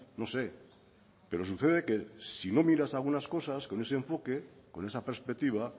no sé pero sucede que si no miras algunas cosas con ese enfoque con esa perspectiva